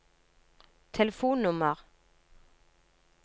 telefonnummer